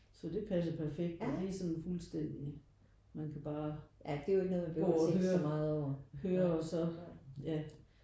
Så det passer perfekt og det er sådan fuldstænding man kan bare gå og høre høre og så ja